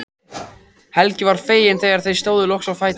Helgi var feginn þegar þau stóðu loks á fætur.